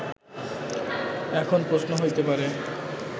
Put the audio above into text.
এখন প্রশ্ন হইতে পারে